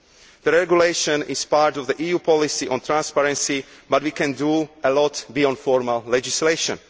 The regulation is part of the EU policy on transparency but we can do a lot beyond formal legislation